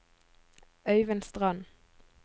Øyvind Strand